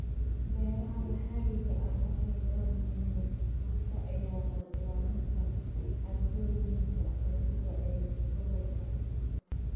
Beeraha maxalliga ahi waxay door muhiim ah ka ciyaaraan ilaalinta caadooyinka cuntada ee gobolka.